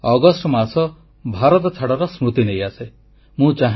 ସେହିଭଳି ଅଗଷ୍ଟ ମାସ ଭାରତଛାଡ଼ର ସ୍ମୃତି ନେଇ ଆସେ